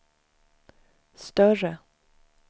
större